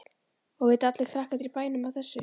Og vita allir krakkarnir í bænum af þessu?